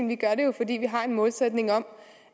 det gør vi jo fordi vi har en målsætning om